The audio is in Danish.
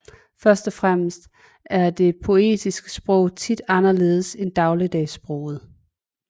Første og fremmest er det poetiske sprog tit anderledes end dagligdagssproget